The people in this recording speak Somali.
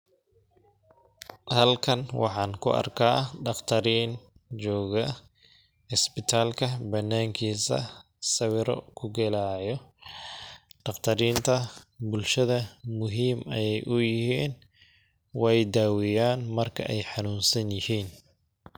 Halkan waxaan ku arkaa dhaqtariin jooga isbitaalka banaan kiisa ,sawiro ku galaayo ,dhaqtariinta bulshada muhiim ay u yihiin ,weey daaweyaan marka ay xanuunsan yihiin .